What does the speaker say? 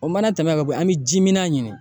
O mana tɛmɛ ka bɔ yen, an mi ji mina ɲini